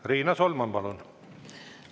Riina Solman, palun!